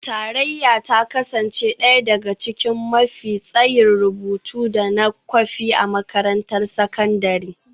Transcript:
Tarayyar ta kasance ɗaya daga cikin mafi tsayin rubutu da na kwafi a makarantar sakandare